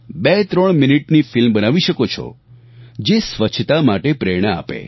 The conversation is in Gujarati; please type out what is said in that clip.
23 મિનિટની ફિલ્મ બનાવી શકો છો જે સ્વચ્છતા માટે પ્રેરણા આપે